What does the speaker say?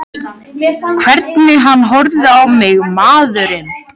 Hvernig hann horfði á mig, maðurinn!